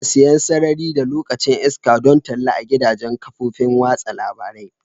Ana siyan sarari da lokacin iska don talla a gidajen kafofin watsa labarai.